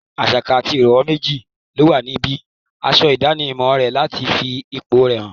Àsá kan àti ìràwọ̀ méjì ló wà níbí aṣọ ìdánimọ̀ rẹ̀ láti fi ipò rẹ̀ hàn.